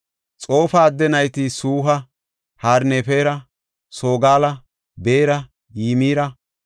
Xoofa adde nayti Suha, Harnefera, Sogala, Beera, Yimira,